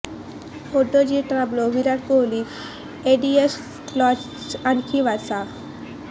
motor G Turbo Virat Kohli edition launch आणखी वाचा